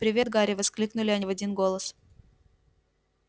привет гарри воскликнули они в один голос